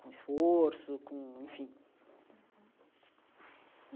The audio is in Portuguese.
Com esforço, com... enfim uhum.